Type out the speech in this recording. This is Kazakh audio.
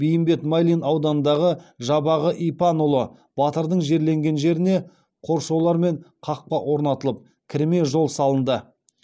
бейімбет майлин ауданындағы жабағы ипанұлы батырдың жерленген жеріне қоршаулар мен қақпа орнатылып кірме жол салынды